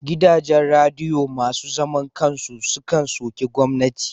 Gidajen radiyo masu zaman kan su sukan soki gwamnati.